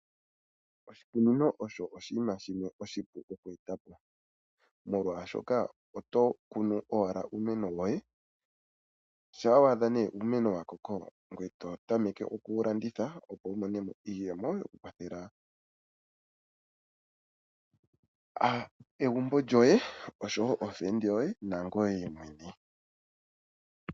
Oshikunino osho oshinima shimwe oshipu okushi eta po, molwashoka oto kunu owala uumeno woye, shampa wa adha nduno uumeno wa koko, ngweye to tameke oku wu landitha opo wu mone mo iiyemo okukwathela egumbo lyoye, ookuume koye nangoye mwene.